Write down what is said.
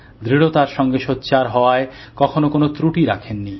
দৃঢ়তার সাথে সোচ্চার হওয়ায় কখনো কোনো ত্রূটি রাখেননি